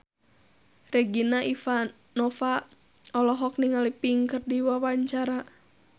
Regina Ivanova olohok ningali Pink keur diwawancara